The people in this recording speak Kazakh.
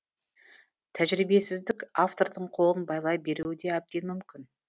тәжірибесіздік автордың қолын байлай беруі де әбден мүмкін